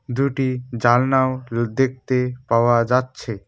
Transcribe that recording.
দুটি জানলাও লু দেখতে পাওয়া যাচ্ছে।